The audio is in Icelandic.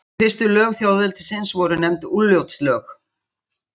Þessi fyrstu lög þjóðveldisins voru nefnd Úlfljótslög.